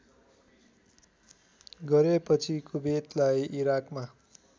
गरेपछि कुबेतलाई इराकबाट